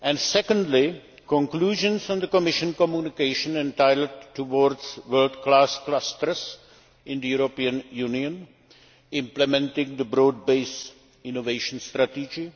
Secondly, conclusions from the Commission communication entitled Towards world class clusters in the European Union implementing the broad based innovation strategy'.